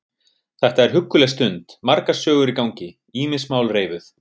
Þetta er hugguleg stund, margar sögur í gangi, ýmis mál reifuð.